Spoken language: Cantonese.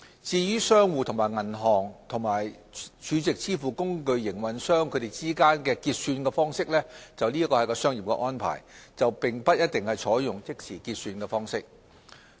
至於商戶和銀行或儲值支付工具營運商之間的結算方式，則為商業安排，並不一定採用即時結算方式。